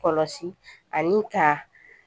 Kɔlɔsi ani ka